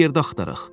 Bir yerdə axtaraq.